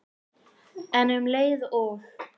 En um leið og